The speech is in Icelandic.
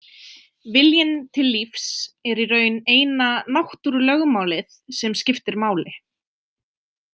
Viljinn til lífs er í raun eina náttúrulögmálið sem skiptir máli.